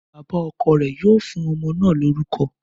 Bàbá ọkọ̀ rẹ̀ yóò fún ọmọ náà lórúkọ